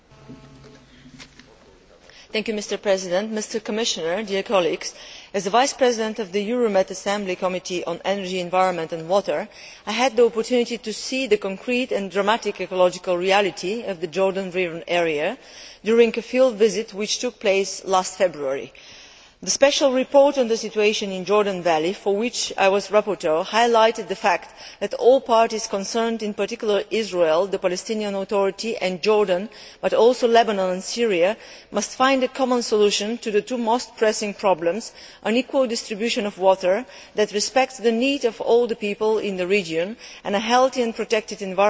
Mr President, as the Vice President of the Euromed Assembly's Committee on Energy, Environment and Water, I had the opportunity to see the concrete and dramatic ecological reality of the Jordan River area during a field visit which took place last February. The Special Report on the Situation in the Jordan Valley, for which I was rapporteur, highlighted the fact that all parties concerned in particular, Israel, the Palestinian Authority and Jordan, but also Lebanon and Syria must find a common solution to the two most pressing problems an equal distribution of water that respects the need of all the people in the region, and a healthy and protected environment for the generations to come.